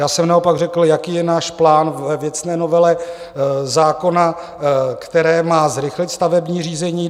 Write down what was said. Já jsem naopak řekl, jaký je náš plán ve věcné novele zákona, který má zrychlit stavební řízení.